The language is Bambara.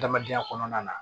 Adamadenya kɔnɔna na